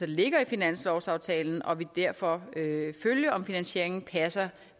ligger i finanslovsaftalen og vil derfor følge om finansieringen passer